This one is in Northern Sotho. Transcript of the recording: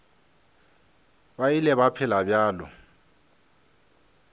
ba ile ba phela bjalo